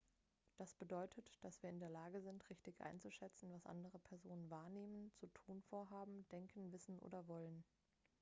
das bedeutet dass wir in der lage sind richtig einzuschätzen was andere personen wahrnehmen zu tun vorhaben denken wissen oder wollen